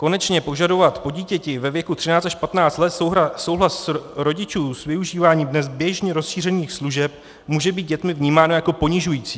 Konečně požadovat po dítěti ve věku 13 až 15 let souhlas rodičů s využíváním dnes běžně rozšířených služeb může být dětmi vnímáno jako ponižující.